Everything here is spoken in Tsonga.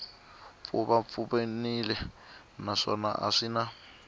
pfuvapfuvanile naswona a swi na